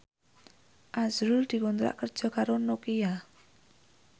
azrul dikontrak kerja karo Nokia